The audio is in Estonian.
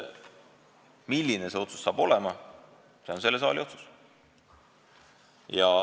Milline see otsus saab olema, see on selle saali otsus.